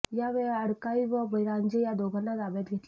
यावेळी अडकाई व बिरांजे या दोघांना ताब्यात घेतले